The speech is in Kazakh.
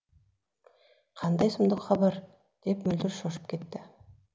қандай сұмдық хабар деп мөлдір шошып кетті